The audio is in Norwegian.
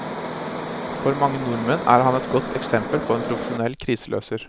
For mange nordmenn er han et godt eksempel på en profesjonell kriseløser.